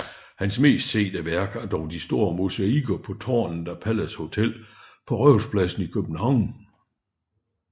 Hans mest sete værk er dog de store mosaikker på tårnet af Palace Hotel på Rådhuspladsen i København